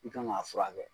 I kan ka furakɛ